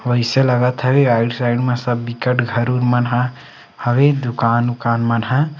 वैसे लागत है इ आइड - साइड में सब बिकट घर -उर मन ह हवे दूकान -उकान मन ह --